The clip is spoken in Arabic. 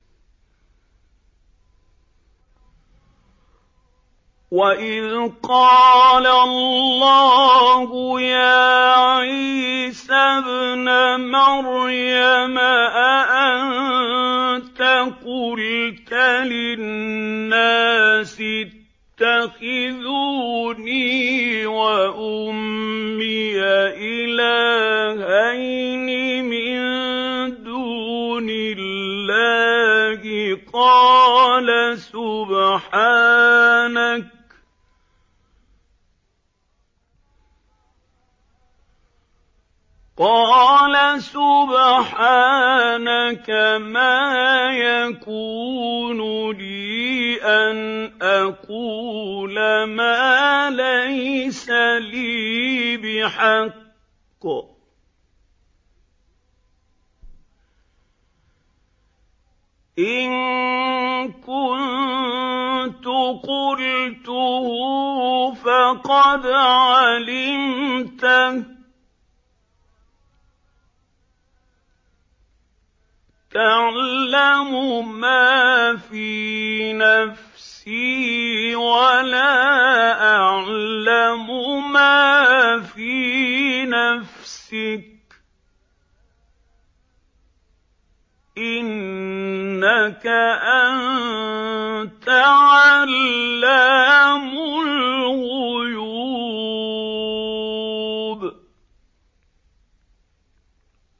وَإِذْ قَالَ اللَّهُ يَا عِيسَى ابْنَ مَرْيَمَ أَأَنتَ قُلْتَ لِلنَّاسِ اتَّخِذُونِي وَأُمِّيَ إِلَٰهَيْنِ مِن دُونِ اللَّهِ ۖ قَالَ سُبْحَانَكَ مَا يَكُونُ لِي أَنْ أَقُولَ مَا لَيْسَ لِي بِحَقٍّ ۚ إِن كُنتُ قُلْتُهُ فَقَدْ عَلِمْتَهُ ۚ تَعْلَمُ مَا فِي نَفْسِي وَلَا أَعْلَمُ مَا فِي نَفْسِكَ ۚ إِنَّكَ أَنتَ عَلَّامُ الْغُيُوبِ